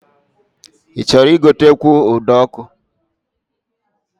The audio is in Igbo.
Ị chọrọ igotekwu ụdọọkụ?